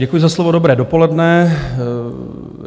Děkuji za slovo, dobré dopoledne.